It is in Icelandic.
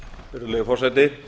virðulegi forseti